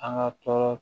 An ka tɔɔrɔ